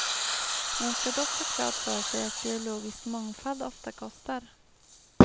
Man ska dock ha klart för sig att biologisk mångfald ofta kostar.